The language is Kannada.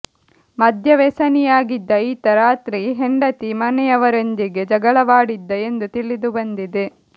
ಮದ್ಯವೆಸನಿಯಾಗಿದ್ದ ಈತ ರಾತ್ರಿ ಹೆಂಡತಿ ಮನೆಯವರೊಂದಿಗೆ ಜಗಳವಾಡಿದ್ದ ಎಂದು ತಿಳಿದು ಬಂದಿದೆ